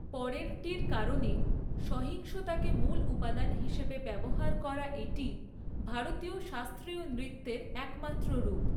পরেরটির কারণে, সহিংসতাকে মূল উপাদান হিসাবে ব্যবহার করা এটিই ভারতীয় শাস্ত্রীয় নৃত্যের একমাত্র রূপ।